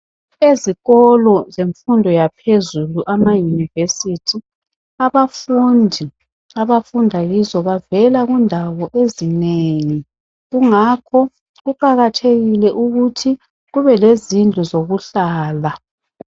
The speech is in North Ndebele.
Ezikolo zemfundo yaphezulu, amayunivesiti abafundi abafunda kizo bavela kundawo ezinengi kungakho kuqakathekile ukuthi kube lezindlu zokuhlala.